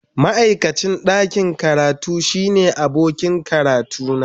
Ma'aikacin ɗakin karatu shine abokin karatuna.